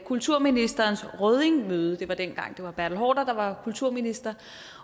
kulturministerens røddingmøde det var dengang det var bertel haarder der var kulturminister